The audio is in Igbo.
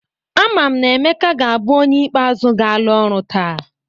Ama m na Emeka ga-abụ onye ikpe azụ ga-ala ọrụ taa.